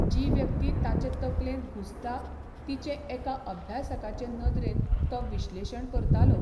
जी व्यक्ती ताचे तकलेंत घुसता तिचें एका अभ्यासकाचे नदरेन तो विश्लेशण करतालो.